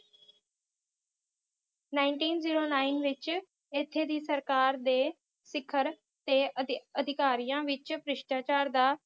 Nineteen zero nine ਵਿਚ ਇਥੇ ਦੀ ਸਰਕਾਰ ਦੇ ਸਿਖਰ ਤੇ ਅੱਧਅਧਿਕਾਰੀਆਂ ਵਿਚ ਭ੍ਰਿਸ਼ਟਾਚਾਰ ਦਾ